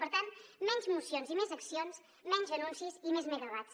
per tant menys mocions i més accions menys anuncis i més megawatts